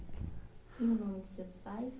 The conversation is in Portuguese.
E o nome dos seus pais?